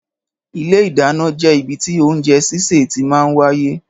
Ìlé ìdánà jẹ ìbítì oúnjẹ sise tí màa ń wàyé.